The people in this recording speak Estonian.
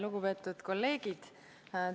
Lugupeetud kolleegid!